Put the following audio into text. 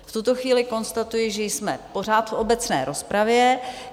V tuto chvíli konstatuji, že jsme pořád v obecné rozpravě.